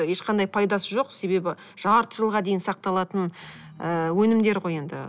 ешқандай пайдасы жоқ себебі жарты жылға дейін сақталатын ы өнімдер ғой енді